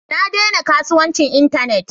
Na daina kasuwancin Internet